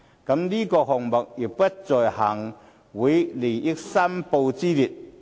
再者，這個項目亦不在行政會議利益申報之列。